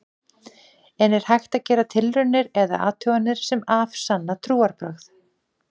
En er hægt að gera tilraunir eða athuganir sem afsanna trúarbrögð?